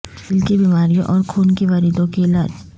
دل کی بیماریوں اور خون کی وریدوں کی علاج